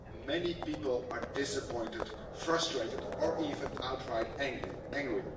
Many people are disappointed, frustrated, or even outright angry.